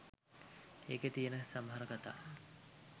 ඒකෙ තියෙන සමහර කතා